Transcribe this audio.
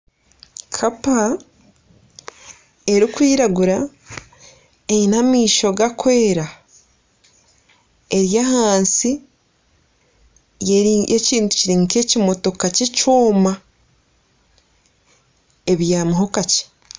Kapa erikwiragura eine amaisho garikwera eri ahansi y'ekintu kiri nk'ekimotoka kyekyoma. Ebyamiho kakye.